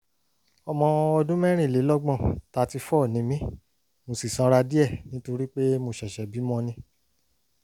ọmọ ọdún mẹ́rìnlélọ́gbọ̀n thirty four ni mí mo ṣì sanra díẹ̀ nítorí pé mo ṣẹ̀ṣẹ̀ bímọ ni